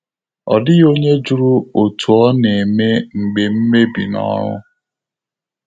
Ọ́ dị́ghị́ ọ́nyé jụ́rụ̀ ótú ọ́ nà-émé mgbè mmèbí nà ọ́rụ́.